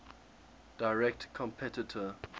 direct competitor